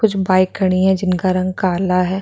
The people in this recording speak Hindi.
कुछ बाइक खड़ी है जिनका रंग काला है।